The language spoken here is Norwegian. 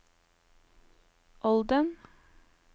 Olden